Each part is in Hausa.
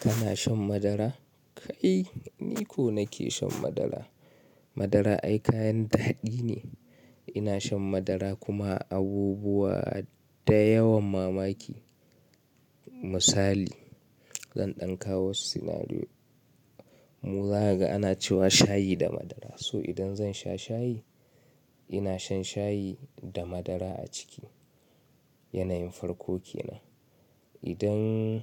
Kana shan madara? Kai, ni ko nake shan madara. Madara ai kayan daɗi ne. Ina shan madara kuma abubuwa da yawan mamaki. Misali, zan ɗanka wasu scenario. Muraga ana cewa shayi da madara. So idan zan sha shayi, ina shan shayi da madara a ciki. Yanayin farko ke nan. Idan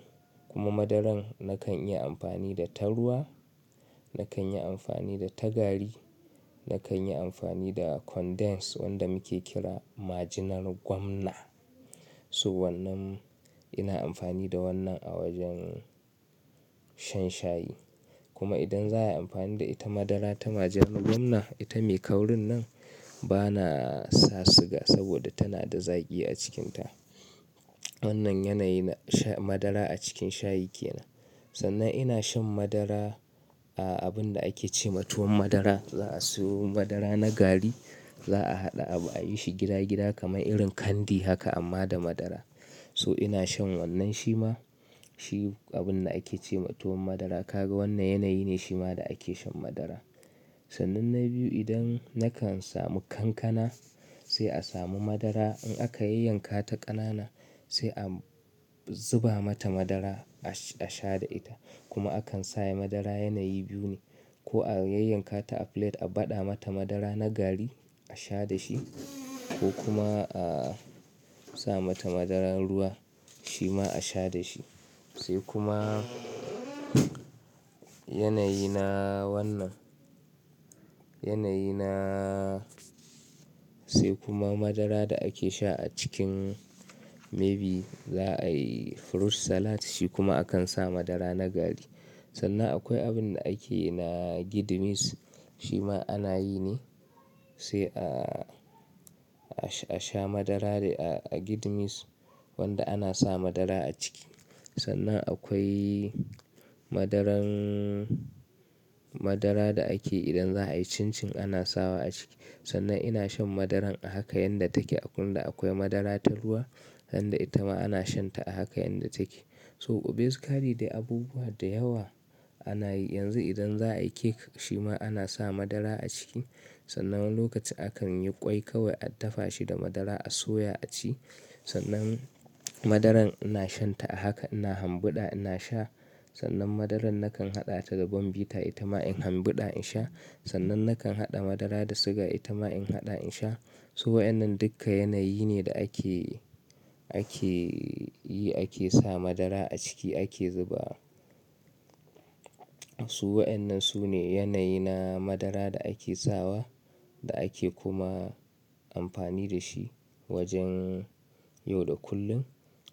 kuma madaran nakan yi amfani da ta ruwa, nakan yi amfani da ta gari, nakan yi amfani da condensed wanda muke kira majinar gwamna. So wannan ina amfani da wannan a wajen shan shayi. Kuma idan za a yi amfani da ita madara ta majinar gwamna, ita mai kaurin nan ba na sa siga saboda tana da zaƙi a cikinta. Wannan yanayi na sha madara a cikin shayi ke nan. Sannan ina shan madara a abun da ake ce ma tuwon madara. Za a sayo madara na gari, za a haɗa abu a yi shi gida-gida kamar irin kandi haka amma da madara. So ina shan wannan shi ma. Shi abun da ake ce ma tuwon madara. Ka ga wannan yanayi ne shi ma da ake shan madara. Sannan na biyu idan nakan samu kankana, sai a samu madara in aka yanyanka ta ƙanana sai a zuba mata madara a sha da ita. Kuma akan sa madara yanayi biyu ne. Ko a yanyanka ta a plate a baɗa mata madara na gari a sha da shi ko kuma a sa mata madarar ruwa shi ma a sha da shi. Sai kuma yanayina wannan-- yanayina-- sai kuma madara da ake sha a cikin maybe za a yi fruit salad shi kuma akan sa madara na gari. Sannan akwai abun da ake na gid mis shi ma ana yi ne sai a, a sha madara a gid mis wanda ana sa madara a ciki. Sannan akwai madaran-- madara da ake idan za a yi chin chin ana sawa a ciki. Sannan ina shan madaran a haka yanda take. Agunda akwai madara ta ruwa, handa ita ma ana shan ta a haka yanda take. So basically dai abubuwa da yawa ana yi. Yanzu idan za a yi cake shi ma ana sa madara a ciki. Sannan lokacin akan yi ƙwai kawai an dafa shi da madara a soya a ci. Sannan madaran ina shan ta a haka ina hambuda ina sha. Sannan madaran nakan haɗa ta da bombeta ita ma in hambura in sha. Sannan nakan haɗa madara da siga ita ma in haɗa in sha. So wa innan duka yanayi ne da ake, ake yi ake sa madara a ciki ake zuba. Su waɗannan su ne yanayi na madara da ake sawa da ake kuma amfani da shi wajen yau da kullum.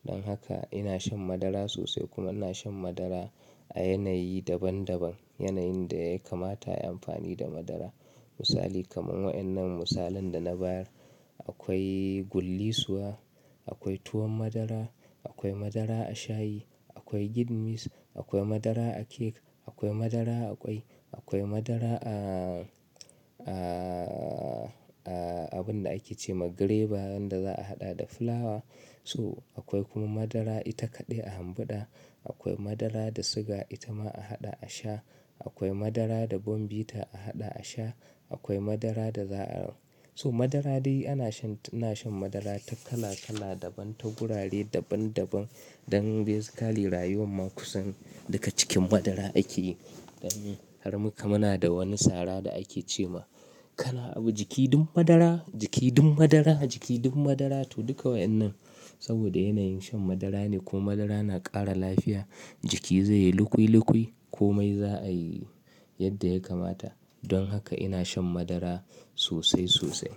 Don haka ina shan madara sosai kuma ina shan madara a yanayi daban daban. Yanayin da ya kamata ayi amfani da madara. Misali kamar wa innan misalan da na bayar. Akwai gullisuwa, akwai tuwon madara, akwai madara a shayi, akwai gid mis, akwai madara a cake, akwai madara a ƙwai, akwai madara a, a, a abun da ake ce ma graver wanda za a haɗa da fulawa. So akwai kuma madara ita kaɗai a hambura. Akwai madara da siga ita ma a haɗa a sha. Akwai madara da bombeta a haɗa a sha. Akwai madara da za-- so madara dai ana shan, ina shan madara ta kala kala daban, ta gurare daban daban. Don basically rayuwar mu kusan duka cikin madara ake yi. Don har muka muna da wani sara da ake ce ma "Kana abu jiki ɗum madara, jiki ɗum madara, jiki ɗum madara" to duka waɗannan saboda yanayin shan madara ne ko madara na ƙara lafiya jiki zai yi lukoi lukoi ko mai za a yi yadda ya kamata. Don haka ina shan madara sosai sosai.